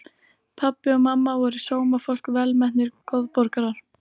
Pabbi og mamma voru sómafólk, velmetnir góðborgarar.